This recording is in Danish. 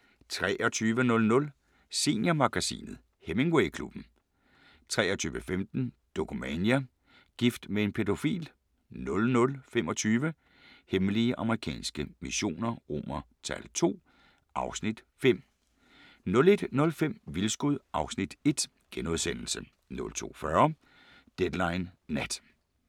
23:00: Seniormagasinet – Hemingway-klubben 23:15: Dokumania: Gift med en pædofil 00:25: Hemmelige amerikanske missioner II (Afs. 5) 01:05: Vildskud (Afs. 1)* 02:40: Deadline Nat